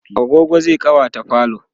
agogo zai ƙawata falo